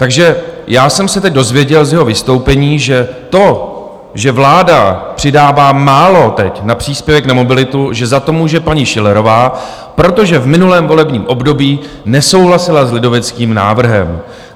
Takže já jsem se teď dozvěděl z jeho vystoupení, že to, že vláda přidává málo teď na příspěvek na mobilitu, že za to může paní Schillerová, protože v minulém volebním období nesouhlasila s lidoveckým návrhem.